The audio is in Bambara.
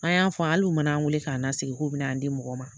An y'a fɔ hali u mana an wele k'an nasigi k'u bin'an di mɔgɔ ma